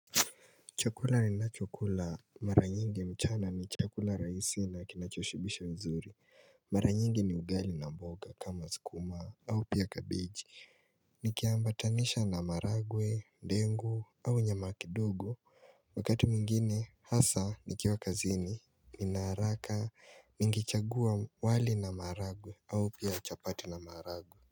Chakula ni nachokula mara nyingi mchana ni chakula raisi na kinachoshibisha mzuri Mara nyingi ni ugali na mboga kama sukuma au pia kabiji Nikiambatanisha na maragwe, ndengu au nyama kidogo Wakati mwingine hasa nikiwa kazini Nina haraka ningechagua wali na maragwe au pia chapati na maragwe.